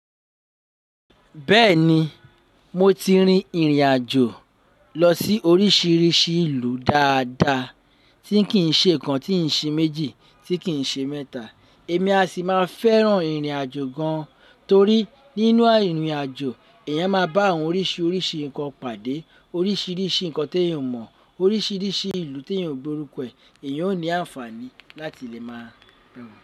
Bẹ́ẹ̀ni, mo ti rin ìrìn àjò lọ sí oríṣiríṣi ìlú dáadáa. Tí kìí n ṣe kan, tí ì ṣe méjì, tí kìn ṣe mẹ́ta. Èmi a sì máa fẹ́ràn ìrìn àjò gan-an torí nínú ìrìn àjò, èèyàn máa bá àwọn oríṣiríṣi nǹkan pàdé, oríṣiríṣi nǹkan tí èèyàn ò mọ̀, oríṣiríṣi ìlú tí èèyàn ò gbo oruko ẹ, èèyàn ó ní àǹfààní láti lè máa bẹ̀ wọ́n.